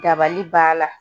Dabali b'a la